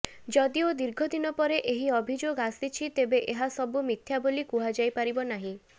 ଯଦିଓ ଦୀର୍ଘଦିନ ପରେ ଏହି ଅଭିଯୋଗ ଆସିଛି ତେବେ ଏହା ସବୁ ମିଥ୍ୟା ବୋଲି କୁହାଯାଇପାରିବ ନାହିଁ